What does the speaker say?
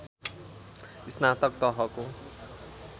स्नातक तहको